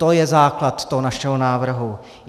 To je základ toho našeho návrhu.